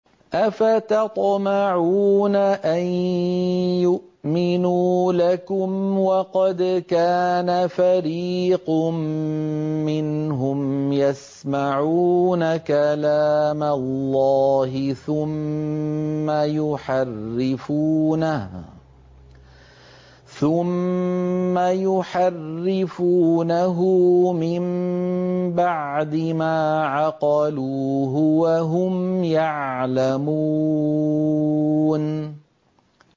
۞ أَفَتَطْمَعُونَ أَن يُؤْمِنُوا لَكُمْ وَقَدْ كَانَ فَرِيقٌ مِّنْهُمْ يَسْمَعُونَ كَلَامَ اللَّهِ ثُمَّ يُحَرِّفُونَهُ مِن بَعْدِ مَا عَقَلُوهُ وَهُمْ يَعْلَمُونَ